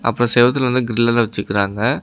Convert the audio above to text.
அப்ரோ செவுத்துல வந்து கிர்ல்லெல்லா வெச்சுறுக்குறாங்க.